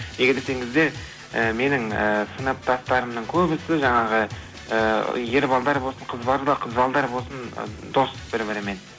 неге десеңіздер і менің ііі сыныптастарымның көбісі жаңағы і ер балдар болсын қыз балдар болсын дос бір бірімен